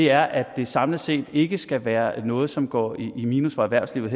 er at det samlet set ikke skal være noget som går i minus for erhvervslivet